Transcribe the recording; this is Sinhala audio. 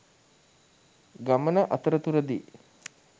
ගමන අතරතුරදී